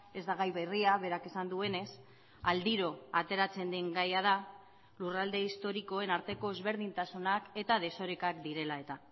ez da gai berria berak esan duenez aldiro ateratzen den gaia da lurralde historikoen arteko ezberdintasunak eta desorekak direla eta